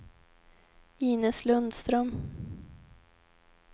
Inez Lundström